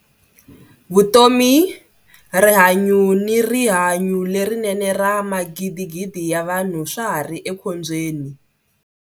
Vutomi, rihanyu ni riha nyu lerinene ra magidigidi ya vanhu swa ha ri ekhombyeni.